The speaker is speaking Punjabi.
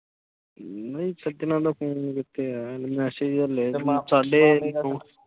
ਨੀ ਸੱਜਣਾ ਦਾ ਫੌਨ ਅਜੇ ਕਿੱਤੇ ਆਇਆ message ਹੱਲੇ।